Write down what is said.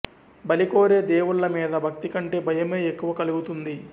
బలి కోరే దేవుళ్ళ మీద భక్తి కంటే భయమే ఎక్కువ కలుగుతుంది